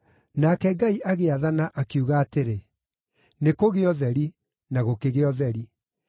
Nake Ngai agĩathana, akiuga atĩrĩ, “Nĩkũgĩe ũtheri,” na gũkĩgĩa ũtheri.